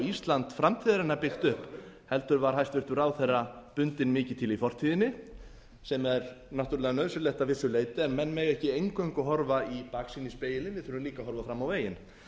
ísland framtíðarinnar byggt upp heldur var hæstvirtur ráðherra bundinn mikið til í fortíðinni sem er náttúrlega nauðsynlegt að vissu leyti en menn mega ekki eingöngu horfa í baksýnisspegilinn við þurfum líka að horfa fram á veginn